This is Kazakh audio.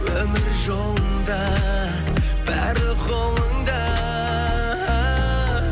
өмір жолында бәрі қолыңда